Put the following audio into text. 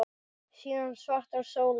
Síðan svartar sólir.